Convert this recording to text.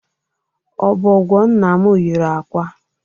Ọbọgwọ nna m yiri akwa.